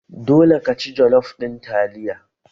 Dole ka ci jollof ɗin taliya!